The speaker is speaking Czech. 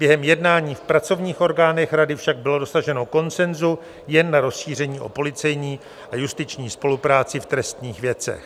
Během jednání v pracovních orgánech Rady však bylo dosaženo konsenzu jen na rozšíření o policejní a justiční spolupráci v trestních věcech.